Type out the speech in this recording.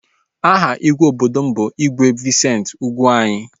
Aha igwe obodo m bụ igwe Vincent Ugwuanyi